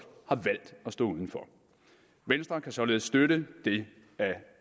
har stå uden for venstre kan således støtte det af